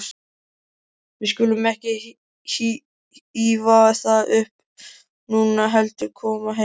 Við skulum ekki ýfa það upp núna, heldur koma heim.